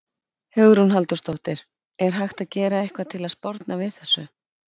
Hugrún Halldórsdóttir: Er hægt að gera eitthvað til að sporna við þessu?